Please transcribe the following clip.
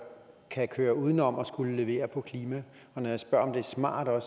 kan køre uden om at skulle levere på klimaet når jeg spørger om det er smart er